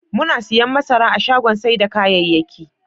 Muna siyan masara a shagon sai da kayayyakin.